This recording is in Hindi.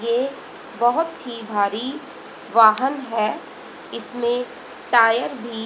ए बहोत ही भारी वाहन है इसमें टायर भी--